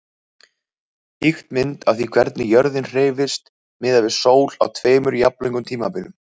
Ýkt mynd af því hvernig jörðin hreyfist miðað við sól á tveimur jafnlöngum tímabilum.